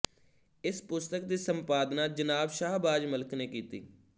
ਇਸ ਪੁਸਤਕ ਦੀ ਸੰਪਾਦਨਾ ਜਨਾਬ ਸ਼ਾਹਬਾਜ ਮਲਿਕ ਨੇ ਕੀਤੀ